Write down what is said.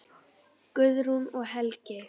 Guðrún og Helgi.